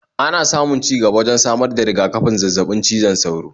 Ana samun ci gaba wajen samar da riga-kafin zazzabin cizon sauro